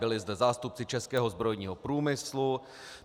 Byli zde zástupci českého zbrojního průmyslu.